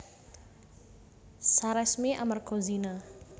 Saresmi amarga zina